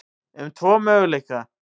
um tvo möguleika.